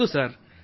ಹೌದು ಸರ್